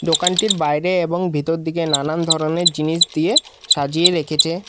বাইরে এবং ভিতরদিকে নানান ধরনের জিনিস দিয়ে সাজিয়ে রেখেছে।